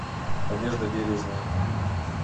надежда бережная